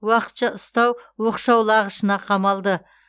уақытша ұстау оқшаулағышына қамалды